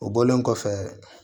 O bɔlen kɔfɛ